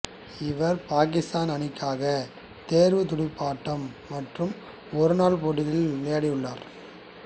இவர் பாக்கித்தான் அணிக்காக தேர்வுத் துடுப்பாட்டம் மற்றும் ஒருநாள் போட்டிகளில் விளையாடியுள்ளார்